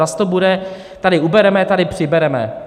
Zas to bude: tady ubereme, tady přibereme.